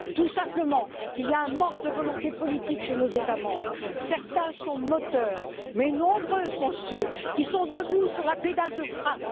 Tout simplement qu'il y a un manque de volonté politique de la part de nos États membres. Certains sont moteurs, mais nombreux sont ceux qui sont debout sur la pédale de frein.